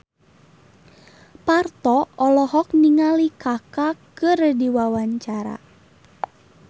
Parto olohok ningali Kaka keur diwawancara